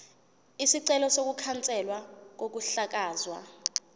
isicelo sokukhanselwa kokuhlakazwa